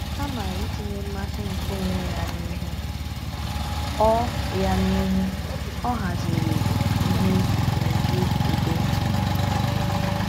Kama itinye mmasị nke onwe ya n’ihu, ọ ya n’ihu, ọ haziri ihe n’uju udo.